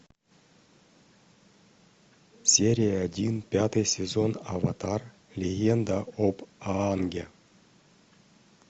серия один пятый сезон аватар легенда об аанге